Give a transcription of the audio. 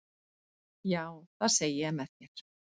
Já, það segi ég með þér.